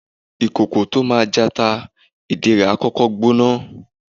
Ikoko tó máa jata ìdí rẹ̀ á kọ́kọ́ gbóná